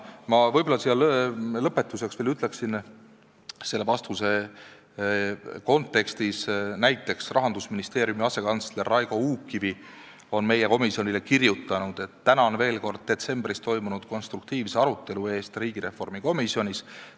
Ma võib-olla lõpetuseks ütlen selle vastuse kontekstis, et näiteks Rahandusministeeriumi asekantsler Raigo Uukkivi on meie komisjonile kirjutanud: "Tänan veel kord detsembris toimunud konstruktiivse arutelu eest riigireformi komisjonis.